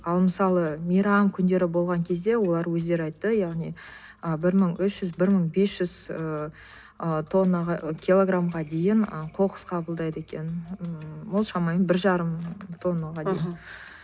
ал мысалы мейрам күндері болған кезде олар өздері айтты яғни ы бір мың үш жүз бір мың бес жүз ыыы килограмға дейін ы қоқыс қабылдайды екен ол шамамен бір жарым тоннаға дейін аха